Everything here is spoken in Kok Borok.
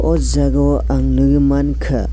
o jaga o ang nogoi mangka.